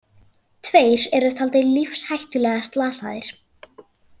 Tveir eru taldir lífshættulega slasaðir